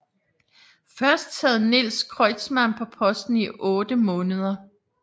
Først sad Niels Kreutzmann på posten i otte måneder